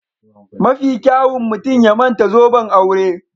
Mafi kyawun mutum ya manta zoben aure